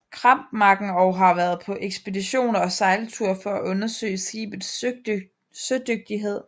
Krampmacken og har været på ekspeditioner og sejlture for at undersøge skibets sødygtighed